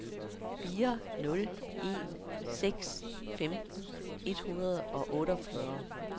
fire nul en seks femten et hundrede og otteogfyrre